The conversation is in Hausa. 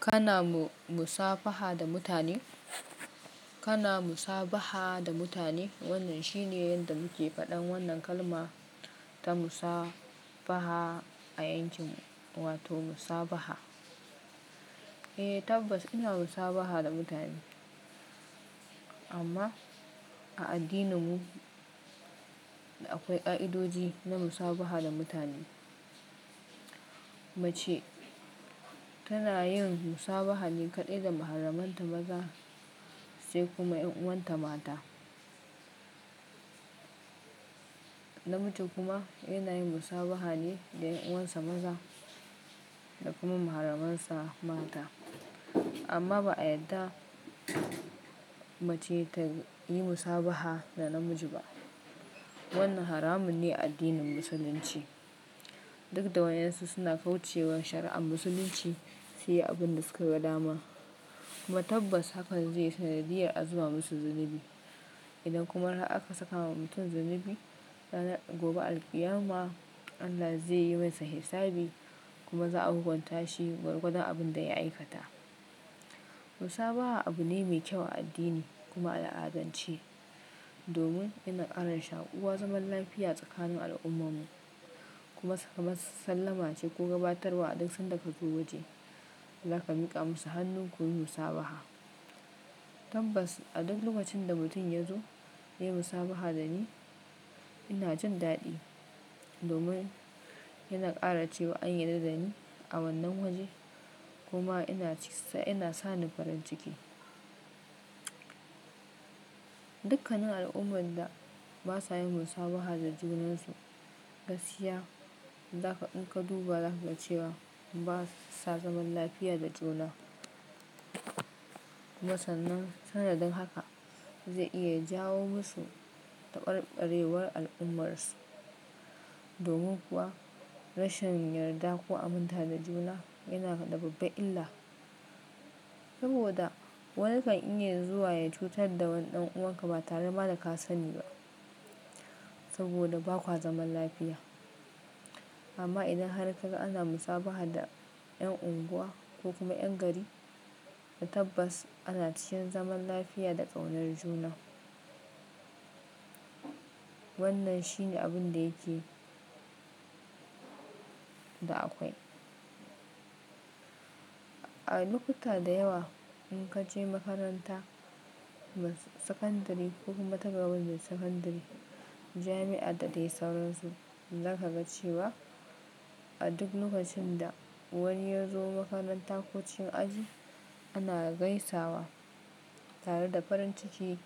Kana mu-musafaha da mutane? Kana musabaha da mutane? Wannan shine yadda muke faɗan wannan kalma ta musafaha a yancin wato musabaha. Eh tabbas ina musabaha da mutane amma a addininmu akwai ƙa'idoji na musabaha da mutane. Mace tana yin musabahali kaɗai da maharamanta maza sai kuma ƴan uwanta mata. Namiji kuma yana yin musabahali da ƴan uwansa maza da kuma maharamansa mata. Amma ba a yadda mace ta yi musabaha da namiji ba. Wannan haramun ne a addinin musulunci. Duk da wayonsu suna kauce wa shari'ar musulunci, su yi abin da suka ga dama. Amma tabbas hakan zai yi sanadiyar azuba musu zinabi. Idan kuma har aka saka wa mutum zinabi, ranar gobe alqiyama Allah zai yi masa hisabi kuma za a hukunta shi gwargwadon abin da ya aikata. Musabaha abu ne mai kyau a addini kuma a la'azanci domin yana ƙara shaƙuwa zaman lafiya tsakanin al'ummomu kuma saka masu sallama ce ko gabatarwa a duk sandaka zuwa waje. Zaka miƙa musu hannu kun yi musabaha. Tabbas a duk lokacin da mutum ya zo ya yi musabaha da ni, ina jin daɗi domin yana ƙara cewa an yi daddani a wannan waje kuma ina ci sa-- ina sa ni farin ciki. Dukkanin al'ummar da ba sa yin musabaha da junansu gaskiya za ka, in ka duba za ka ga cewa ba sa zaman lafiya da juna. Musamman sanadin haka zai iya jawo musu ɗabare ɗarewar al'ummarsu. Domin kuwa rashin yarda ko aminta da juna yana da babba illa. Saboda wannan kan iya zuwa ya cutar da wani ɗan uwanka ba tare ba da ka sani ba saboda ba kuka zaman lafiya. Amma idan har ka ga ana musabaha da ƴan unguwa ko kuma ƴan gari, tabbas ana ciyan zaman lafiya da ƙaunar juna. Wannan shine abin da yake da akwai. A lokuta da yawa in ka je makaranta, mas-sakandari ko kuma ta gaba da sakandari, jami'a da dai sauransu, za ka ga cewa a duk lokacin da wani ya zo makarantar ko cikin aji ana gaisawa tare da farin ciki